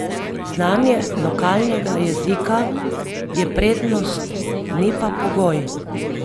Znanje lokalnega jezika je prednost, ni pa pogoj.